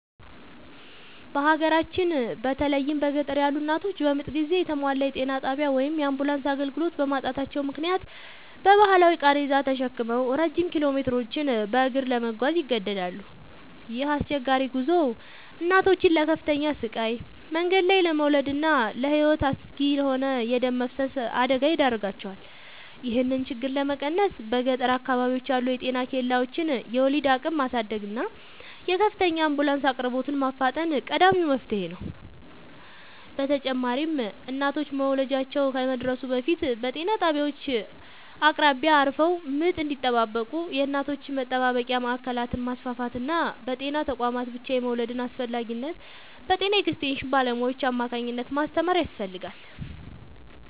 በሀገራችን በተለይም በገጠር ያሉ እናቶች በምጥ ጊዜ የተሟላ የጤና ጣቢያ ወይም የአምቡላንስ አገልግሎት በማጣታቸው ምክንያት በባህላዊ ቃሬዛ ተሸክመው ረጅም ኪሎሜትሮችን በእግር ለመጓዝ ይገደዳሉ። ይህ አስቸጋሪ ጉዞ እናቶችን ለከፍተኛ ስቃይ፣ መንገድ ላይ ለመውለድና ለሕይወት አስጊ ለሆነ የደም መፍሰስ አደጋ ይዳርጋቸዋል። ይህንን ችግር ለመቀነስ በገጠር አካባቢዎች ያሉ የጤና ኬላዎችን የወሊድ አቅም ማሳደግና የድንገተኛ አምቡላንስ አቅርቦትን ማፋጠን ቀዳሚው መፍትሔ ነው። በተጨማሪም እናቶች መውለጃቸው ከመድረሱ በፊት በጤና ጣቢያዎች አቅራቢያ አርፈው ምጥ እንዲጠባበቁ የእናቶች መጠባበቂያ ማዕከላትን ማስፋፋትና በጤና ተቋማት ብቻ የመውለድን አስፈላጊነት በጤና ኤክስቴንሽን ባለሙያዎች አማካኝነት ማስተማር ያስፈልጋል።